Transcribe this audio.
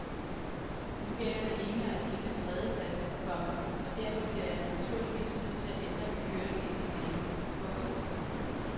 Nu gælder det ene og alene tredjepladsen, komma og derfor bliver jeg naturligvis nødt til at ændre min kørestil en anelse. punktum